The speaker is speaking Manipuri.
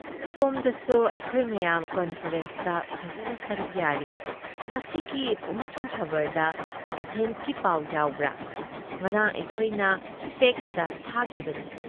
ꯁꯣꯝꯗꯁꯨ ꯑꯩꯈꯣꯏ ꯃꯌꯥꯝ ꯀꯟꯐꯔꯦꯟꯁꯇ ꯐꯖꯅ ꯁꯔꯨꯛ ꯌꯥꯔꯤ ꯫ ꯉꯁꯤꯒꯤ ꯄꯣꯛꯅꯐꯝ ꯈꯕꯔꯗ ꯑꯦꯊꯦꯟꯁꯀꯤ ꯄꯥꯎ ꯌꯥꯎꯕ꯭ꯔꯥ ꯫ ꯉꯔꯥꯡ ꯑꯩꯈꯣꯏꯅ ꯐꯦꯛꯁꯇ ꯊꯥꯈꯤꯕꯅꯤ ꯫